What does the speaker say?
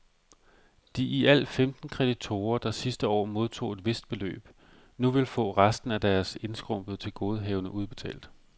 De i alt femten kreditorer, der sidste år modtog et vist beløb, nu vil få resten af deres indskrumpede tilgodehavende udbetalt.